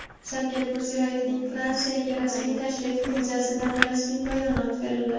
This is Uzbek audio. Shavkat Mirziyoyevning Fransiyaga rasmiy tashrifi yuzasidan rasmiy bayonot berildi.